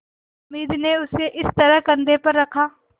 हामिद ने उसे इस तरह कंधे पर रखा